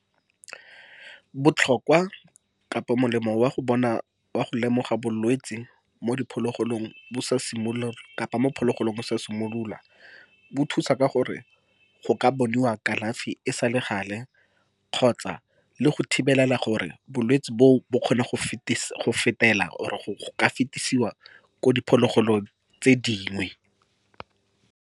Botlhokwa kapa molemo wa go bona, wa go lemoga bolwetse mo diphologolong bo sa simolole kapa mo phologolong bo sa simolola, bo thusa ka gore go ka bonwa kalafi e sa le gale kgotsa le go thibelela gore bolwetse boo, bo kgone go fetela or go ka fetesiwa ko diphologolong tse dingwe.